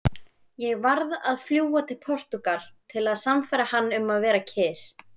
Ég varð að fljúga til Portúgal til að sannfæra hann um að vera kyrr.